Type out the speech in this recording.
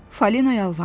Falina yalvardı.